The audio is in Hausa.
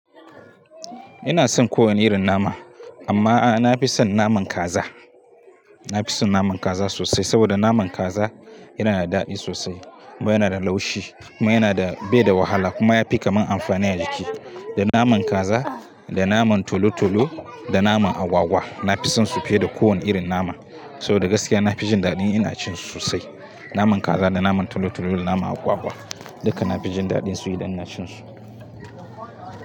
Ina son kowane irin nama, amma a'a na fi son naman kaza. Na fi son naman kaza sosai saboda naman kaza yana da daɗi sosai. Kuma yana da laushi. Kuma yana da bai da wahala kuma ya fi kaman amfani a jiki. Da naman kaza, da naman tolo-tolo, da naman agwagwa na fisonsu fiye da kowane irin nama. Saboda gaskiya na fijin ɗaɗin ina cin su sosai. Naman kaza, da naman tolo-tolo, da naman agwagwa dukka na fijin ɗaɗin su idan inacin su.